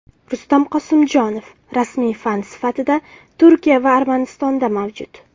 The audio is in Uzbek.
Rustam Qosimjonov: Rasmiy fan sifatida Turkiya va Armanistonda mavjud.